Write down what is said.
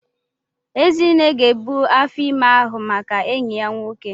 Ezinne ga ebu afọ ime ahụ maka enyi ya nwoke.